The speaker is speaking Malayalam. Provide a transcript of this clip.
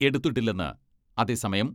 എടുത്തിട്ടില്ലെന്ന് അതേ സമയം